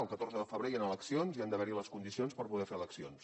el catorze de febrer hi han eleccions i han d’haver hi les condicions per poder fer eleccions